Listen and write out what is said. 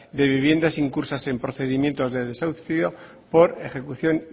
de viviendas incursas en procedimientos de desahucio por ejecución